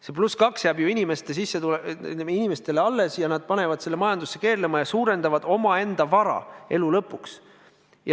See +2 jääb ju inimestele alles ja nad panevad selle majandusse keerlema ja suurendavad oma vara elu lõpuks.